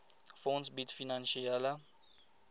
fonds bied finansiële